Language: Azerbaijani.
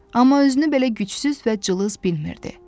Amma özünü belə gücsüz və cılız bilmirdi.